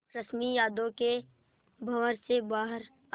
रश्मि यादों के भंवर से बाहर आई